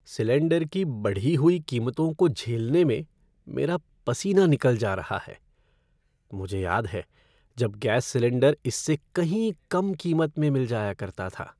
Cylinder की बढ़ी हुई कीमतों को झेलने में मेरा पसीना निकल जा रहा है। मुझे याद है जब गैस सिलेंडर इससे कहीं कम कीमत में मिल जाया करता था।